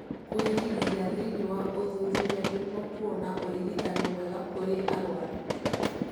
kũigithia thĩinĩ wa ũthuthuria niguo kuona ũrigitani mwega kũrĩ arwaru